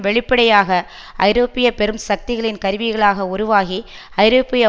வெளிப்படையாக ஐரோப்பிய பெரும் சக்திகளின் கருவிகளாக உருவாகி ஐரோப்பிய